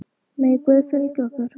Megi Guð fylgja ykkur.